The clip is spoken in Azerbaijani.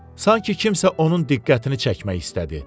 Sanki kimsə onun diqqətini çəkmək istədi.